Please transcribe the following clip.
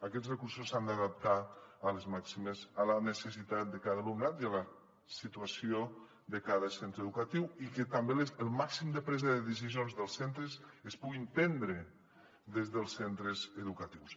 aquests recursos s’han d’adaptar a la necessitat de cada alumnat i a la situació de cada centre educatiu i que també el màxim de preses de decisions dels centres es puguin prendre des dels centres educatius